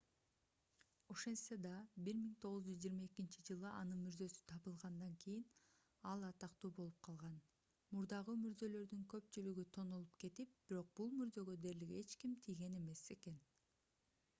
ошентсе да 1922-жылы анын мүрзөсү табылгандан кийин ал атактуу болуп калган мурдагы мүрзөлөрдүн көпчүлүгү тонолуп кетип бирок бул мүрзөгө дээрлик эч ким тийген эмес экен